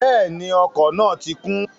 Bẹ́ẹ̀ni, ọkọ̀ náà ti kún